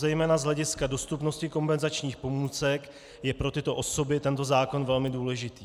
Zejména z hlediska dostupnosti kompenzačních pomůcek je pro tyto osoby tento zákon velmi důležitý.